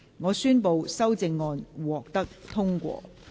我宣布修正案獲得通過。